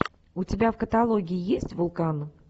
у тебя в каталоге есть вулкан